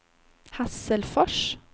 Hasselfors